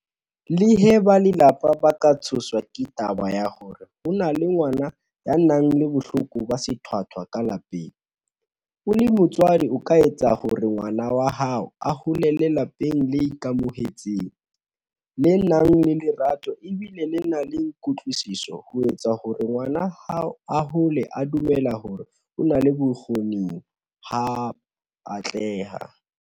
Leha ba lelapa ba ka tshoswa ke taba ya hore ho na le ngwana ya nang le bohloko ba sethwathwa ka lapeng, o le motswadi o ka etsa hore ngwana wa hao a holele lapeng le ikamohetseng, le nang le lerato e bile le na le kutlwisiso ho etsa hore ngwana hao a hole a dumela hore o na le bokgo-ning ba ho atleha.